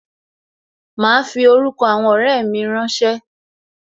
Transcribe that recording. Ma fi orúkọ àwọn ọrẹ mi rán ṣé